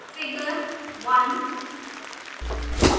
figure1